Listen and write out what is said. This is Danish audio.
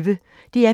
DR P1